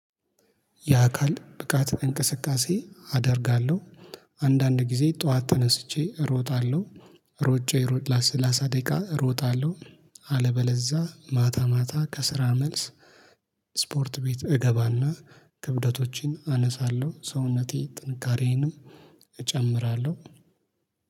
የአካል ብቃት እንቅስቃሴ አደርጋለሁ። አንዳንድ ጊዜ ጠዋት ተነስቼ ሮጣለሁ። ሮጫዬ ሮጣለሁ ለሰላሳ ደቂቃ ሮጣለሁ። አለበለዛ ማታ ማታ ከስራ መልስ ስፖርት ቤት እገባና ክብደቶችን አነሳለሁ። ሰውነቴ ጥንካሬንም እጨምራለሁ